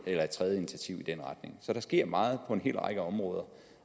tredje initiativ i den retning så der sker meget på en hel række områder